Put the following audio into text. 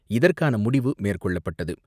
இதற்கான முடிவு மேற்கொள்ளப்பட்டது.